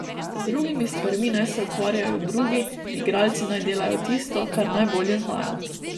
Z drugimi stvarmi naj se ukvarjajo drugi, igralci naj delajo tisto, kar najbolje znajo.